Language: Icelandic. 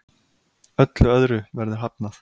Öllu öðru verður hafnað.